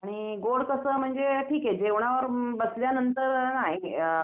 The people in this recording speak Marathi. आणि गोड कसं म्हणजे ठीक ये जेवणाला बसल्यानांतर